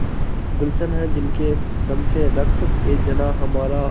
गुल्शन है जिनके दम से रश्कएजनाँ हमारा